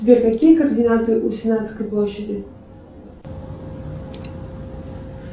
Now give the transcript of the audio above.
сбер какие координаты у сенатской площади